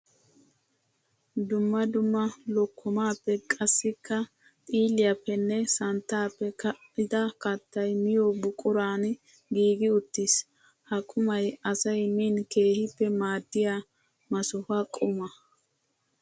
Dumma dumma lokkomappe qassikka xiilliyappenne santtappe ka'dda kattay miyo buquran giigi uttiis. Ha qumay asay min keehippe maadiya masuha quma.